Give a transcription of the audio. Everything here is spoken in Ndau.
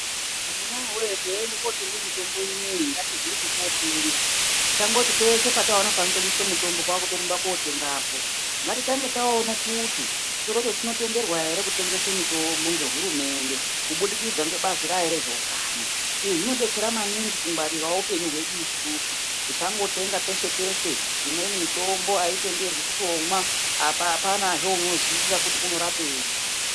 Amunawe teiende kotenge mitombo inoyi ngatiziye kwekotenga tisangote peshe panotengeswe mitombo kwakutorumbe kotengapo ngatitange taone kuti chitorocho chinotenderwa ere kutengese mitombo ngehurumende kubudikidza ngebazi rayo rezve utano izvi zvinodetsera maningi kungwarirawo hupenyu hwedu isusu tisangotenga peshe peshe imweni mitombo aitenderwi kutomwa apa apanazve unoziya kuti unorapenyi.